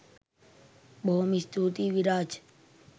බොහොම ස්තුතියි විරාජ්